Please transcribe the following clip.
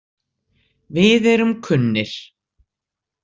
Við erum kunnir.